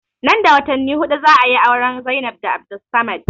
Nan da watanni huɗu za ayi auren Zainab da Abdulsamad